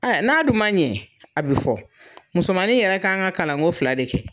Aya n'a dun man ɲɛ a be fɔ . Musomanin yɛrɛ kan ka kalan ko fila de kɛ.